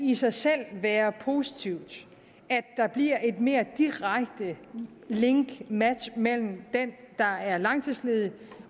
i sig selv kan være positivt at der bliver et mere direkte link eller match mellem den der er langtidsledig